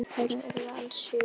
Börn þeirra urðu alls sjö.